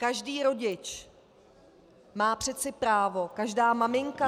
Každý rodič má přece právo, každá maminka -